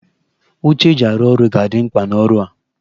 Oche eji arụ ọrụ ga-adị mkpa n'ọrụ a